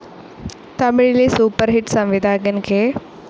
തമിഴിലെ super hit സംവിധായകൻ K.